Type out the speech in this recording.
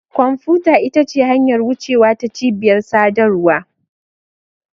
Kwamfuta ita ce hanyar wucewa ta cibiyar sadarwa.